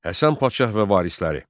Həsən Padşah və varisləri.